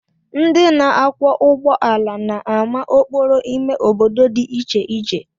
Ndị na-akwọ ụgbọala na-ama okporo ime obodo dị iche iche